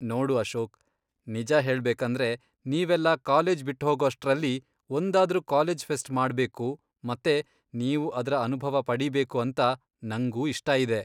ನೋಡು ಅಶೋಕ್, ನಿಜ ಹೇಳ್ಬೇಕಂದ್ರೆ ನೀವೆಲ್ಲ ಕಾಲೇಜ್ ಬಿಟ್ಹೋಗೋಷ್ಟ್ರಲ್ಲಿ ಒಂದಾದ್ರೂ ಕಾಲೇಜ್ ಫೆಸ್ಟ್ ಮಾಡ್ಬೇಕು ಮತ್ತೆ ನೀವು ಅದ್ರ ಅನುಭವ ಪಡೀಬೇಕು ಅಂತ ನಂಗೂ ಇಷ್ಟ ಇದೆ.